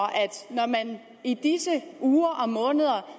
når man i disse uger og måneder